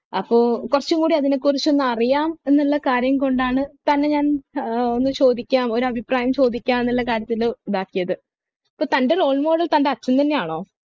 അപ്പൊ കുറച്ചും കൂടി അതിനെ കുറിച്ചൊന്ന് അറിയാം എന്നുള്ള കാര്യം കൊണ്ടാണ് തന്നെ ഞാൻ ഏർ ഒന്ന് ചോദിക്കാൻ ഒരു അഭിപ്രായം ചോദിക്കാനല്ല കാര്യത്തില് ഇതാക്കിയത് തൻ്റെ role model തൻ്റെ അച്ഛൻ തന്നെയാണ്